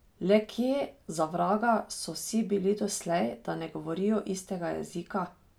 Le kje, za vraga, so vsi bili doslej, da ne govorijo istega jezika?